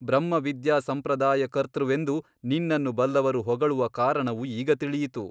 ಬ್ರಹ್ಮ ವಿದ್ಯಾಸಂಪ್ರದಾಯಕರ್ತೃವೆಂದು ನಿನ್ನನ್ನು ಬಲ್ಲವರು ಹೊಗಳುವ ಕಾರಣವು ಈಗ ತಿಳಿಯಿತು.